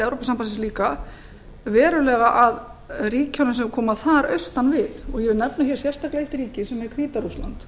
evrópusambandsins líka að verulega að ríkjunum sem koma þar austan við ég vil nefna hér sérstaklega eitt ríki sem er hvíta rússland